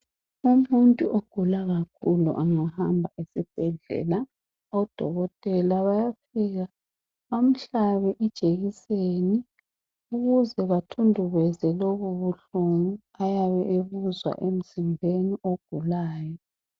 Umuntu ogula kakhulu angahamba esibhedlela odokotela bayafika bamhlabe ijekiseni ukuze bathundubeze lobu ulbuhlungu ayabe ebuzwa emzimbeni ogulayo.